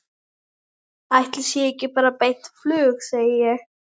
Ætli sé ekki bara beint flug, segi ég.